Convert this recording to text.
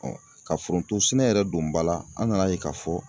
ka foronto sɛnɛ yɛrɛ don ba la an nana ye k'a fɔ